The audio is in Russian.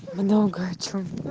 много о чём